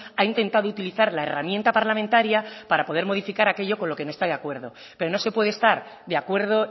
ha intentado utilizar la herramienta parlamentaria para poder modificar aquello con lo que no está de acuerdo pero no se puede estar de acuerdo